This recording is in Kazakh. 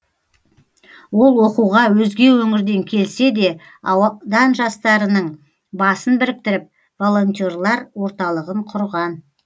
ол оқуға өзге өңірден келсе де аудан жастарының басын біріктіріп волонтерлар орталығын құрған